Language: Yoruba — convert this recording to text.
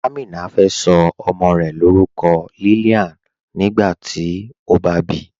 Amina fẹ́ so ọmọ́ rẹ̀ lórúkọ̀ Lillian nígbàtí ó bá bí